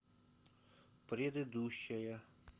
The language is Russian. предыдущая